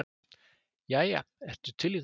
"""Jæja, ertu til í það?"""